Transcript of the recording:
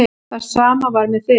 Það sama var með þig.